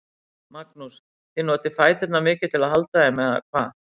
Magnús: Þið notið fæturna mikið til að halda þeim, eða hvað?